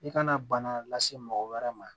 I kana bana lase mɔgɔ wɛrɛ ma